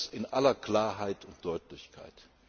Ich sage das in aller Klarheit und Deutlichkeit.